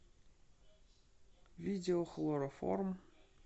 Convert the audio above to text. видео хлороформ